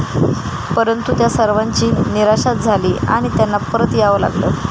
परंतु त्या सर्वांची निराशाच झाली आणि त्यांना परत यावं लागलं.